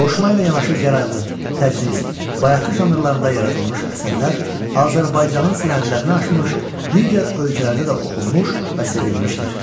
Qoşma ilə yanaşı gəraylı, təcnis, bayatı janrlarında yaradılmış əsərlər Azərbaycanın sərhədlərini aşmış, digər ölkələrdə də oxunmuş və sevilmişdir.